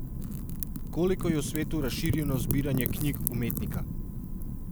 Koliko je v svetu razširjeno zbiranje knjig umetnika?